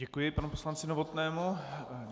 Děkuji panu poslanci Novotnému.